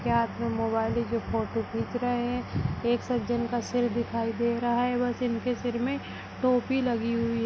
हाथ मे मोबाइल जो फोटो खींच रहे हैं एक सज्जन का सिर दिखाई रहा है बस इनके सिर में टोपी लगी हुई है।